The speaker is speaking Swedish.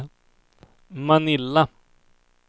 Manila